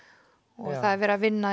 og það er verið að vinna